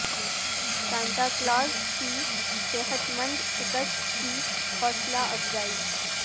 Santa Claus کی صحت مند شکست کی حوصلہ افزائی